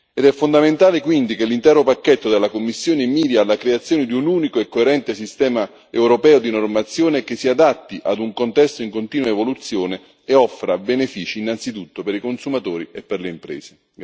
Ed è fondamentale, quindi, che l'intero pacchetto della Commissione miri alla creazione di un unico e coerente sistema europeo di normazione, che si adatti ad un contesto in continua evoluzione e offra benefici innanzitutto per i consumatori e per le imprese.